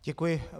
Děkuji.